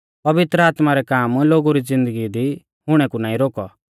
पवित्र आत्मा रै काम लोगु री ज़िन्दगी दी हुणै कु नाईं रोकौ